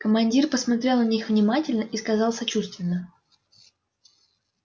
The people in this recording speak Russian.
командир посмотрел на них внимательно и сказал сочувственно